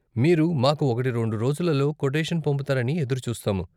మీరు మాకు ఒకటి రెండు రోజులలో కొటేషన్ పంపుతారని ఎదురుచూస్తాము.